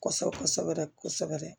Kosɛbɛ kosɛbɛ kosɛbɛ